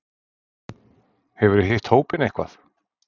Hefurðu hitt hópinn eitthvað?